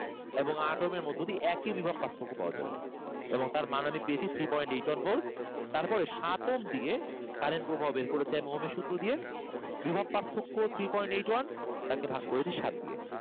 এবং আট ওহম এর মধ্য দিয়ে একই বিভব পার্থক্য পাওয়া যাবে এবং তার মান আমি পেয়েছি three point eight one volt তারপরে সাত ওহম দিয়ে current প্রবাহ আমি বের করেছি ওহম এর সূত্র দিয়ে বিভব পার্থক্য three point eight one তাকে ভাগ করেছি সাত দিয়ে